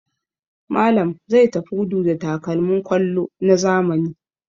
Malam zai tafi gudu da takalmin kwallo na zamani.